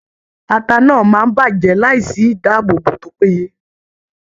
Ata náà máa bàjẹ́ láìsí ìdáàbòbò tó péye.